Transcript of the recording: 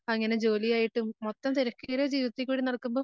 അങ്ങനെ ജോലിയായിട്ടും മൊത്തം തെരക്കേറിയ ജീവിതത്തിൽ കൂടി നടക്കുമ്പം